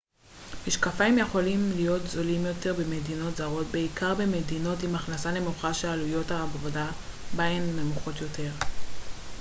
משקפיים יכולים להיות זולים יותר במדינות זרות בעיקר במדינות עם הכנסה נמוכה ששעלויות העבודה בהן נמוכות יותר.ץ